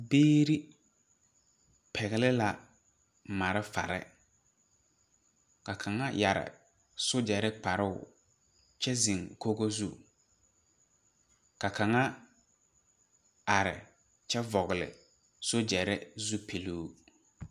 Biire pɛgle la malfarre ka kaŋa yɛre sogyɛrre kparoo kyɛ zeŋ kogo zu ka kaŋa are kyɛ vɔgle sogyɛrre zupiluu.